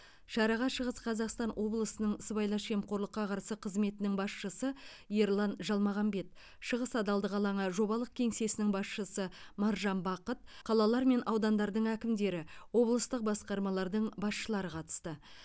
шараға шығыс қазақстан облысының сыбайлас жемқорлыққа қарсы қызметінің басшысы ерлан жалмағамбет шығыс адалдық алаңы жобалық кеңсесінің басшысы маржан бақыт қалалар мен аудандардың әкімдері облыстық басқармалардың басшылары қатысты